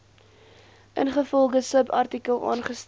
ingevolge subartikel aangestel